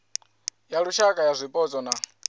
ya lushaka ya zwipotso na